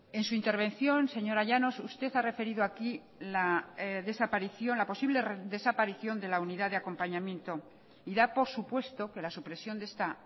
en su intervención señora llanos usted ha referido aquí la desaparición la posible desaparición de la unidad de acompañamiento y da por supuesto que la supresión de esta